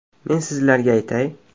Men sizlarga aytay.